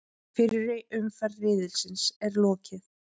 Fyrri umferð riðilsins er lokið